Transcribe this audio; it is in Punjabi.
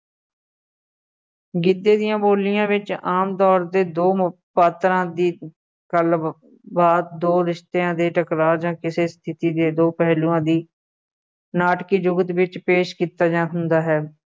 ਗਿੱਧੇ ਦੀਆਂ ਬੋਲੀਆਂ ਵਿੱਚ ਆਮ ਤੌਰ 'ਤੇ ਦੋ ਪਾਤਰਾਂ ਦੀ ਕਲਮਬੱਧ ਦੋ ਰਿਸ਼ਤਿਆਂ ਦੇ ਟਕਰਾਅ ਜਾਂ ਕਿਸੇ ਸਥਿਤੀ ਦੇ ਦੋ ਪਹਿਲੂਆ ਦੀ ਨਾਟਕੀ ਜੁਗਤ ਵਿੱਚ ਪੇਸ਼ ਕੀਤਾ ਗਿਆ ਹੁੰਦਾ ਹੈ,